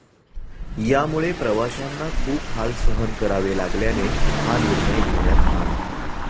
यामुळे प्रवाशांना खूप हाल सहन करावे लागल्याने हा निर्णय घेण्यात आला.